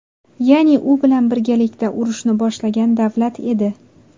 Ya’ni u bilan birgalikda urushni boshlagan davlat edi.